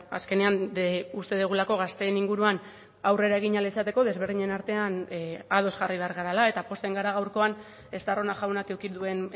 azkenean uste dugulako gazteen inguruan aurrera egin ahal izateko desberdinen artean ados jarri behar garela eta pozten gara gaurkoan estarrona jaunak eduki duen